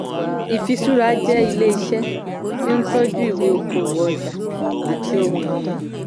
ìfiṣúra jẹ́ ilé iṣẹ́ tí ń tọ́jú ìwé okòwò ọjà àti ohun-ìní.